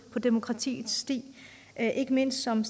på demokratiets sti ikke mindst som